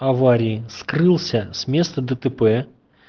аварии скрылся с места дтп